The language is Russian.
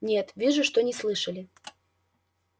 нет вижу что не слышали